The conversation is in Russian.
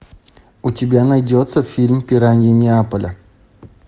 у тебя найдется фильм пираньи неаполя